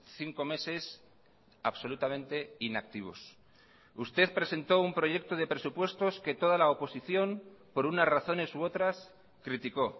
cinco meses absolutamente inactivos usted presentó un proyecto de presupuestos que toda la oposición por unas razones u otras criticó